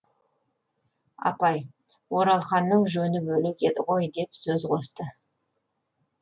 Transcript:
апай оралханның жөні бөлек еді ғой деп сөз қосты